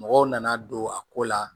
Mɔgɔw nana don a ko la